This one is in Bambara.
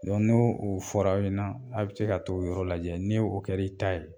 Dɔn n'o o fɔr'aw ɲɛna a' bɛ se ka t"o yɔrɔ lajɛ ni o kɛr'i ta ye